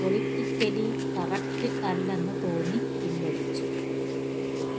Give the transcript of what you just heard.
politically correct അല്ലെന്നു തോന്നി പിൻവലിച്ചു